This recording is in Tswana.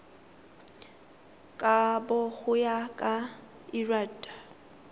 kabo go ya ka lrad